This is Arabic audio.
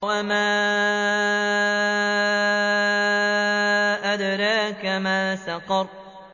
وَمَا أَدْرَاكَ مَا سَقَرُ